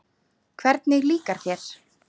Hvernig líkar þér?